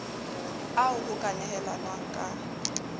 ao ho ka nehelanwang ka